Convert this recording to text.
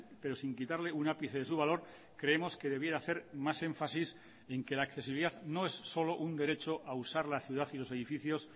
pero sin quitarle un ápice de su valor creemos que debiera hacer más énfasis en que la accesibilidad no es solo un derecho a usar la ciudad y los edificios